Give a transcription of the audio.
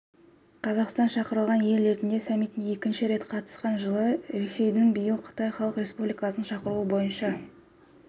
қазақстан шақырылған ел ретінде саммитіне екінші рет қатысты жылы ресейдің биыл қытай халық республикасының шақыруы бойынша